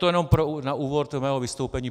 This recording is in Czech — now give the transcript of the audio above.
To jen na úvod mého vystoupení.